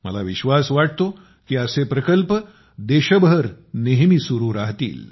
मला विश्वास वाटतो की असे प्रकल्प देशभर नेहमी चालू राहतील